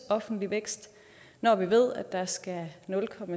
offentlig vækst når vi ved at der skal nul